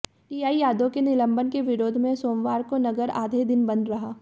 TI Yadav के निलंबन के विरोध में सोमवार को नगर आधे दिन बंद रहा